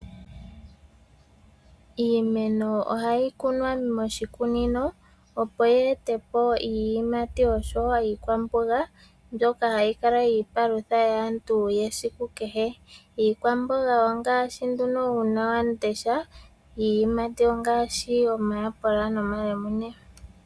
Iimeno ohayi kunwa moshikunino opo yeete po iiyimati osho wo iikwamboga mbyoka hayi kala iipalutha yaantu yesiku kehe. Iikwamboga ongaashi nduno uunawamundesha iiyimati ongaashi omayapula nomalemune.